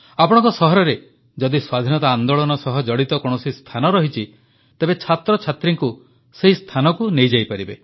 ଆପଣଙ୍କ ସହରରେ ଯଦି ସ୍ୱାଧୀନତା ଆନ୍ଦୋଳନ ସହ ଜଡ଼ିତ କୌଣସି ସ୍ଥାନ ରହିଛି ତେବେ ଛାତ୍ରଛାତ୍ରୀଙ୍କୁ ସେହି ସ୍ଥାନକୁ ନେଇଯାଇପାରିବେ